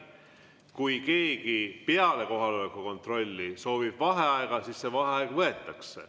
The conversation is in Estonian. Kui keegi peale kohaloleku kontrolli soovib vaheaega, siis see vaheaeg võetakse.